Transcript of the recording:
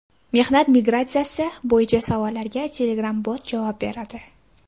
Mehnat migratsiyasi bo‘yicha savollarga Telegram-bot javob beradi.